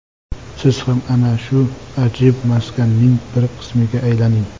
Siz ham ana shu ajib maskanning bir qismiga aylaning.